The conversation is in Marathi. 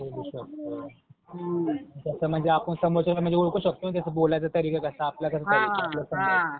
बोलू शकतो. तसं म्हणजे आपण समोरच्याला म्हणजे ओळखू शकतो अन त्याचा बोलायचा तरीका कसा आपल्यासारखा आहे का? आपल्याला समजेल.